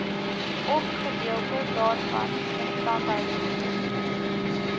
ofgedeelte daarvan instandhoudingsdiens